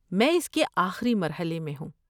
میں اس کے آخری مرحلے میں ہوں۔